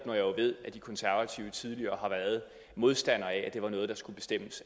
ved at de konservative tidligere har været modstandere af at det var noget der skulle bestemmes